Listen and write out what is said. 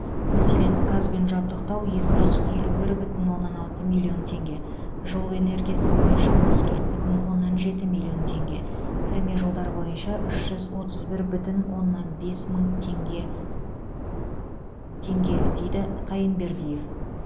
мәселен газбен жабдықтау екі жүз елу бір бүтін оннан алты миллион теңге жылу энергиясы бойынша отыз төрт бүтін оннан жеті миллион теңге кірме жолдар бойынша үш жүз отыз бір бүтін оннан бес мың теңге теңге дейді қайынбердиев